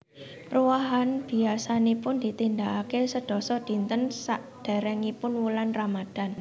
Ruwahan biyasanipun ditindakake sedasa dinten sakderengipun wulan Ramadhan